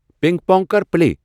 پِنگ pong کر play.